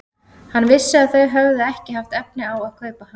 Hann vissi að þau höfðu ekki haft efni á að kaupa hann.